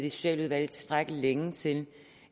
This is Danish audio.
i socialudvalget tilstrækkelig længe til